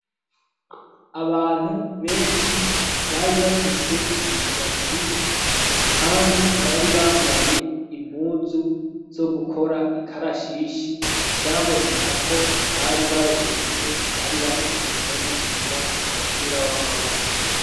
Abantu benshi bari bafise imishatsi, kandi bari bambaye impuzu zo gukora ikarashishi vyaboneka ko bari baruhutse bari bahejeje no gukina umupira w'amaboko.